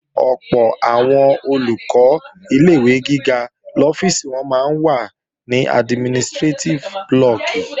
Ọ̀pọ̀ àwọn Olùkọ́ ilé-ìwé gíga lọ́fíìsì wọn máa ń wà ní administrétíf blọọ̀kì